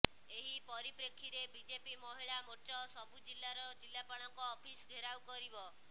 ଏହି ପରିପ୍ରେକ୍ଷୀରେ ବିଜେପି ମହିଳା ମୋର୍ଚ୍ଚ ସବୁ ଜିଲ୍ଲାର ଜିଲ୍ଲାପାଳଙ୍କ ଅଫିସ ଘେରାଉ କରିବ